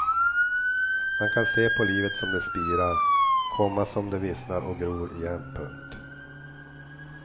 Man kan se på livet som det spirar, komma som det vissnar och gror igen. punkt